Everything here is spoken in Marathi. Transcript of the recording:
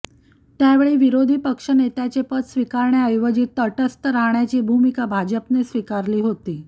त्यावेळी विरोधी पक्षनेत्याचे पद स्वीकारण्याऐवजी तटस्थ राहण्याची भूमिका भाजपने स्वीकारली होती